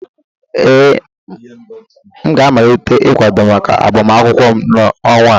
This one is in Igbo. Ee, m ga-amalite ịkwado maka agbamakwụkwọ m n'ọnwa a